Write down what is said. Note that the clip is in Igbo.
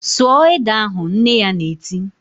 "Sụọ ede ahụ!" Nne ya na-eti